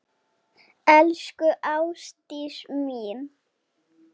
Elsku Ástdís mín.